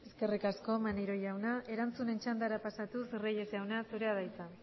eskerrik asko maneiro jauna erantzunen txandara pasatuz reyes jauna zurea da hitza